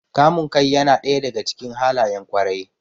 Kamun kai yana ɗaya daga cikin halayen ƙwarai.